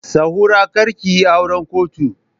Sahura kar ki yi auran kotu!